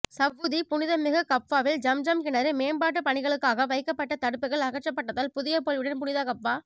Saudi புனிதமிகு கஃபாவில் ஜம்ஜம் கிணறு மேம்பாட்டு பணிகளுக்காக வைக்கப்பட்ட தடுப்புக்கள் அகற்றப்பட்டதால் புதிய பொலிவுடன் புனித கஃபா